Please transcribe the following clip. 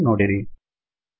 ಬಂತು ನೋಡಿರಿ